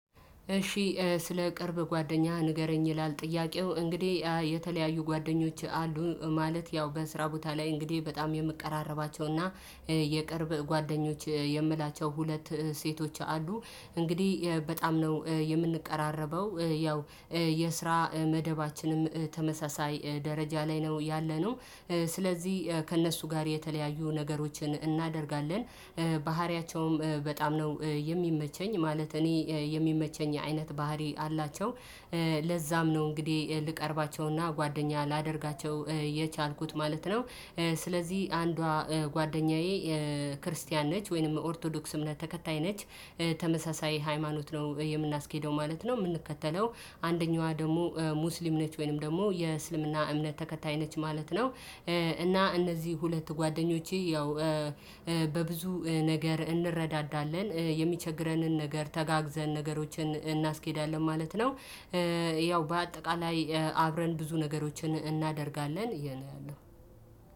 እሺ ስለ ቅርብ ጓደኛህ ንገረኝ ይላል ጥያቄው እንግዲህ። የተለያዩ ጓደኞች አሉኝ ማለት ያው በስራ ቦታ ላይ እንግዲህ በጣም የምቀራረባቸውና። የቅርብ ጓደኞች የምላቸው ሁለት ሴቶች አሉ እንግዲህ በጣም ነው የምንቀራረበው ያው የስራ መደባችንም ተመሳሳይ ደረጃ ላይ ነው ያለነው። ስለዚህ ከእነሱ ጋር የተለያዩ ነገሮችን እናደርጋለን። ባህሪያቸውም በጣም ነው የሚመቸኝ ማለት እኔ የሚመቸኝ አይነት ባህሪ አላቸው። ለዛም ነው እንግዲህ ልቀርባቸውና ጓደኛ ላደርጋቸው የቻልኩት ማለት ነው። ስለዚህ አንዷ ጓደኛዬ ክርስቲያን ነች ወይንም ኦርቶዶክስ እምነት ተከታይ ነች። ተመሳሳይ ሃይማኖት ነው የምናስኬደው ማለት ነው የምንከተለው። አንደኛዋ ደግሞ ሙስሊም ነች ወይንም ደግሞ የእስልምና እምነት ተከታይ ነች ማለት ነው። እና እነዚህ ሁለት ጓደኞቼ ያው በብዙ ነገር እንረዳዳለን የሚቸግረንን ነገር ተጋግዘን ነገሮችን እናስኬዳለን ማለት ነው። ያው በአጠቃላይ አብረን ብዙ ነገሮችን እናደርጋለን ይሄ ነው ያለው።